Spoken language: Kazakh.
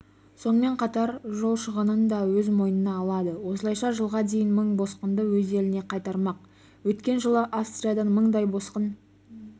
сонымен қатар жол шығынын да өз мойнына алады осылайша жылға дейін мың босқынды өз еліне қайтармақ өткен жылы австриядан мыңдай босқын